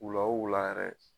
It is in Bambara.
Wula o wula yɛrɛ.